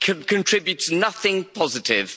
contributes nothing positive.